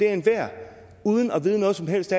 at enhver uden at vide noget som helst